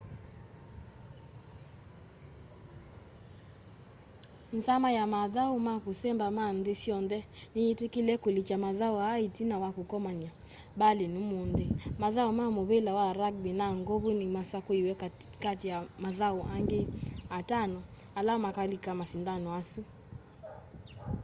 nzama ya mathau ma kusemba ma nthi syonthe ni yitikile kulikya mathau aa itina wa kukomania berlin umunthi mathau ma muvila wa rugby na ng'ovu ni masakuiwe kati wa mathau angi atano ala makalika masindanoni asu